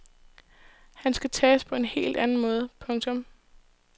Han skal tages på en helt anden måde. punktum